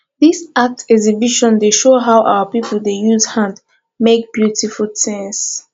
dis art exhibition dey show how our pipo dey use hand make beautiful tins